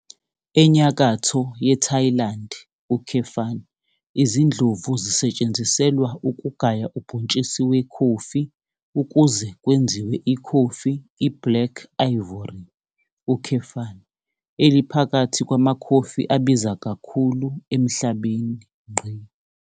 Enyakatho yeThailande, izindlovu zisetshenziselwa ukugaya ubhontshisi wekhofi ukuze kwenziwe ikhofi iBlack Ivory, eliphakathi kwamakhofi abiza kakhulu emhlabeni.